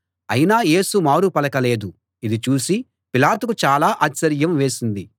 అయినా యేసు మారు పలకలేదు ఇది చూసి పిలాతుకు చాలా ఆశ్చర్యం వేసింది